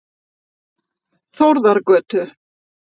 Þórðargötu